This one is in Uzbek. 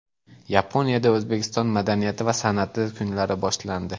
Yaponiyada O‘zbekiston madaniyati va san’ati kunlari boshlandi.